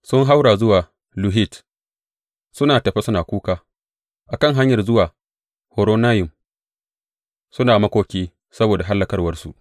Sun haura zuwa Luhit, suna tafe suna kuka; a kan hanyar zuwa Horonayim suna makoki saboda hallakawarsu.